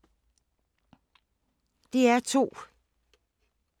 DR2